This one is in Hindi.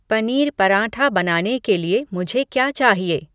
पनीर पराठा बनाने के लिए मुझे क्या चाहिए